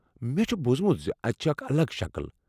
مےٚ چھ بوٗزمت زِ اتھ چھِ اکھ الگ شكل ۔